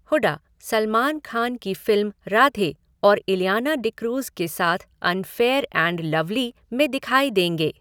हुडा सलमान खान की फ़िल्म 'राधे' और इलियाना डिक्रूज़ के साथ 'अनफ़ेयर एंड लवली' में दिखाई देंगे।